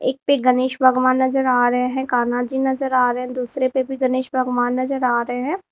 एक पे गणेश भगवान नजर आ रहे हैं कान्हा जी नजर आ रहे हैं दूसरे पे भी गणेश भगवान नजर आ रहे हैं।